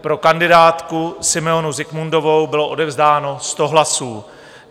pro kandidátku Simeonu Zikmundovou bylo odevzdáno 100 hlasů.